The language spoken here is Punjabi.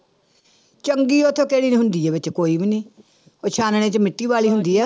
ਚੰਗੀ ਉੱਥੋਂ ਹੁੰਦੀ ਹੈ ਵਿੱਚ ਕੋਈ ਵੀ ਨੀ, ਉਹ ਛਾਨਣੇ ਚ ਮਿੱਟੀ ਬਾਹਲੀ ਹੁੰਦੀ ਹੈ।